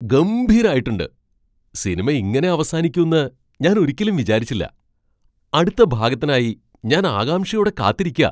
ഗംഭീരായിട്ടുണ്ട്! സിനിമ ഇങ്ങനെ അവസാനിക്കുന്ന് ഞാൻ ഒരിക്കലും വിചാരിച്ചില്ല. അടുത്ത ഭാഗത്തിനായി ഞാൻ ആകാംക്ഷയോടെ കാത്തിരിക്കാ.